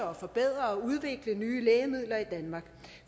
og forbedre og udvikle nye lægemidler i danmark